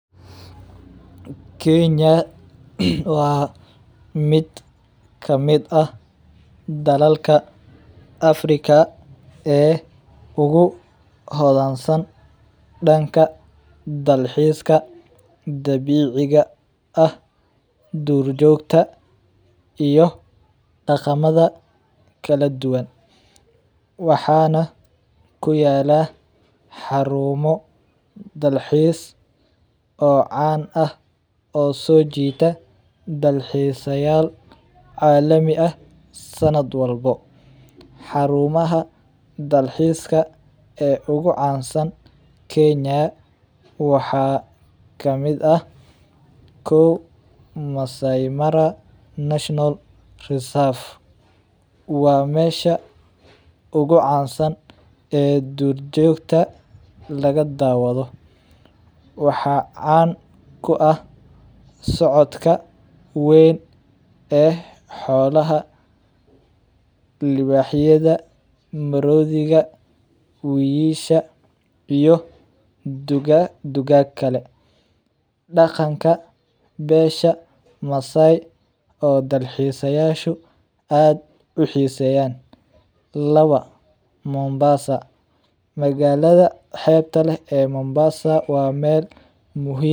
Kenya wa mid kamid ah dhalalka Afrika ee ugu hodhaan san dhanka dhalxiiska dhabiiciga ah dhuur joogta iyo dhaqamadha kala dhuban waxana kuyala xaruumo dhalxiis oo caan ah oo so jiita dhalxiisayaal caalami ah sanadh walbo xaruumaha dhalxiiska ee ogu caansan kenya waxa kamid ah(1) Masai mara national reserve wa meesha ogu caansan ee dhuur joogta lagadhaawadho waxa caan ku ahh socodhka ween e xoolaha libaaxyada maroodhiga weeysha iyo dhugaag kale dhaqanka beesha masai oo dhalxiisayashu aad uxiseeyan (2) Mombasa magaalada xeebta leh ee Mombasa wa meel muhiim